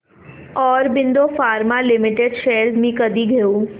Aurobindo pharma limited shares मी कधी घेऊ